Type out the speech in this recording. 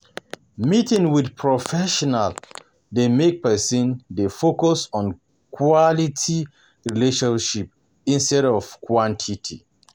Meeting with professional dey make person dey focus on quality relationship instead of quantity